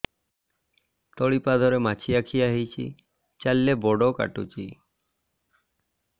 ତଳିପାଦରେ ମାଛିଆ ଖିଆ ହେଇଚି ଚାଲିଲେ ବଡ଼ କାଟୁଚି